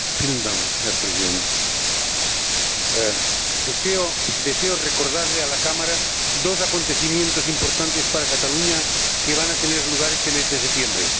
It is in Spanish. Señor Presidente, deseo recordarle a la Cámara dos acontecimientos importantes para Cataluña que van a tener lugar este mes de septiembre.